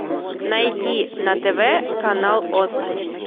найди на тв канал оз